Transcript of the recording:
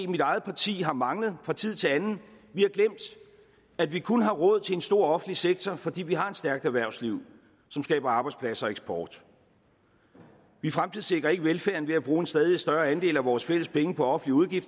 mit eget parti har manglet fra tid til anden vi har glemt at vi kun har råd til en stor offentlig sektor fordi vi har et stærkt erhvervsliv som skaber arbejdspladser og eksport vi fremtidssikrer ikke velfærden ved at bruge en stadig større andel af vores fælles penge på offentlige